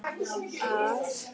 Að sorgin beið.